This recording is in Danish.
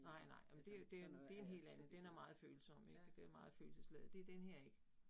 Nej nej, men det jo det jo det en helt anden. Den er meget følsom ik, den er meget følelsesladet, det denne her ikke